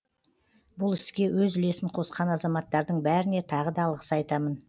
бұл іске өз үлесін қосқан азаматтардың бәріне тағы да алғыс айтамын